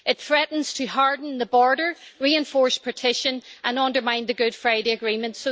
It threatens to harden the border, reinforce partition and undermine the Good Friday Agreement.